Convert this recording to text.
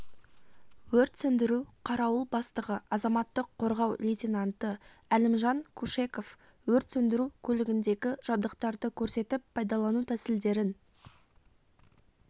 өрт сөндіру қарауыл бастығы азаматтық қорғау лейтенанты әлімжан кушеков өрт сөндіру көлігіндегі жабдықтарды көрсетіп пайдалану тәсілдерін